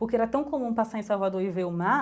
Porque era tão comum passar em Salvador e ver o mar